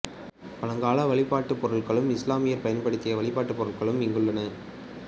பழங்கால வழிபாட்டுப் பொருட்களும் இசுலாமியர் பயன்படுத்திய வழிபாட்டுப் பொருட்களும் இங்குள்ளன